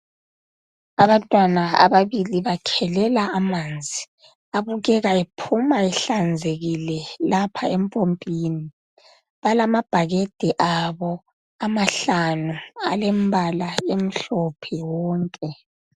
Abantwana ababili bakhelela amanzi abukeka ephuma ehlanzekile lapha empompini balamabhakede abo amahlanu alembala emhlophe wonke.